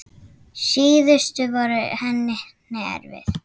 Síðustu árin voru henni erfið.